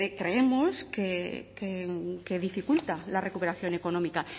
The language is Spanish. creemos que dificulta la recuperación económica